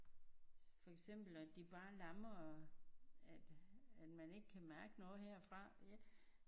For eksempel at de bare lammer at at man ikke kan mærke noget herfra